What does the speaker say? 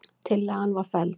Tillagan var felld.